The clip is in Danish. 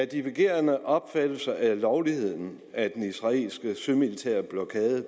divergerende opfattelser af lovligheden af den israelske sømilitære blokade